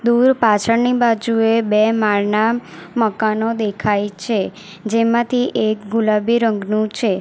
દૂર પાછળની બાજુએ બે માળના મકાનો દેખાય છે જેમાંથી એક ગુલાબી રંગનું છે.